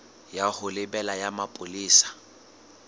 ya ho lebela ya bopolesa